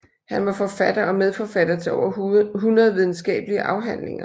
Han var forfatter og medforfatter til over 100 videnskabelige afhandlinger